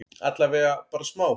Allavega bara smá?